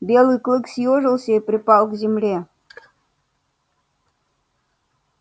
белый клык съёжился и припал к земле